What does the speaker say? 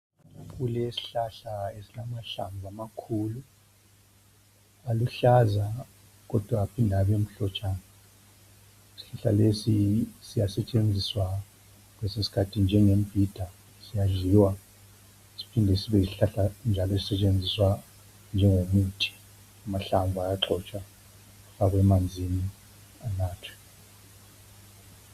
Kulesihlahla esilamahlamvu amakhulu, Aluhlaza kodwa aphinde abe mhlotshana. Isihlahla lesi siyasetshenziswa kwesinye isikhathi njengembhida, siyadliwa siphinde sibe yisihlahla njalo esisetshenziswa njengomuthi. Amahlamvu ayagxotshwa afake emanzini, anathwe.